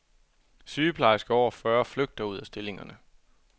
Sygeplejersker over fyrre flygter ud af stillingerne.